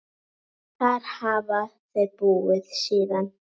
Þar hafa þau búið síðan.